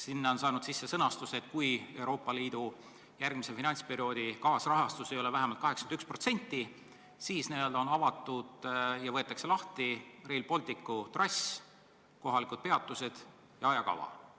Sinna on saanud sisse sõnastus, et kui Euroopa Liidu järgmise finantsperioodi kaasrahastus ei ole selle projekti puhul vähemalt 81%, siis n-ö võetakse lahti Rail Balticu trass, kohalikud peatused ja ajakava.